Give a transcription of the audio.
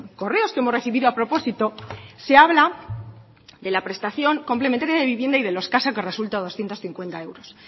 correos que hemos recibido a propósito se habla de la prestación complementaria de vivienda y de lo escaso que resulta doscientos cincuenta euros